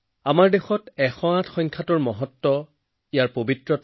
এই কাৰণেই মন কী বাতৰ ১০৮সংখ্যক খণ্ডটো মোৰ বাবে বিশেষ হিচাপে ধৰা দিছে